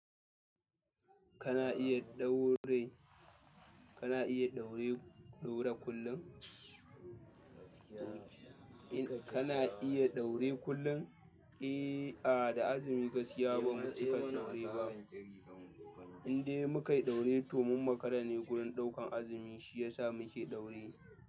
Kana iya ɗaure, kana iya ɗaure, ɗaura kullun? Kana iya ɗaure kullum. Eh, a da azumi gaskiya bamu cika ɗaure ba. Inde mukai ɗaure to mun makara ne wurin ɗaukan azumi shi yasa muke ɗaure.